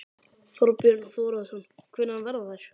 Þorbjörn Þórðarson: Hvenær verða þær?